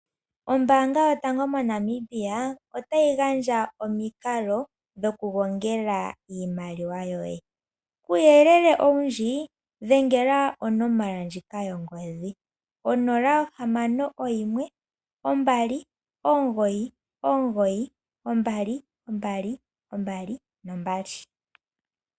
Ombaanga yotango moNamibia otayi gandja omikalo dhokugonga iimaliwa yoye. Kuuyelele owundji, dhengela onomola yongodhi ndjika, 0612992222.